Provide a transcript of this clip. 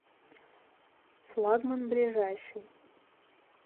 флагман ближайший